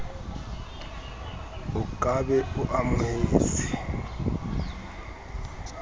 o ka be o amohetse